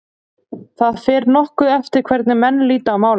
Það fer nokkuð eftir hvernig menn líta á málið.